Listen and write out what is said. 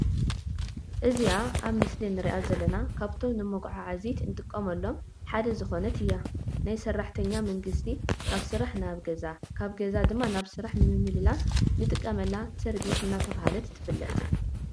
እዝይኣ ኣብ ምስሊ እንርእያ ዘለና ካብቶም ንመጎዓዓዚ እንጥቀመሎም ሓደ ዝኮነት እያ። ናይ ሰራሕተኛ መንግስቲ ካብ ስራሕ ናብ ገዛ ካብ ገዛ ድማ ናብ ስራሕ ንምምልላስ እንጥቀመላ ሰርቢስ እናተባህለት ትፍለጥ።